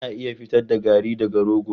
Ana iya fitar da garri daga rogo.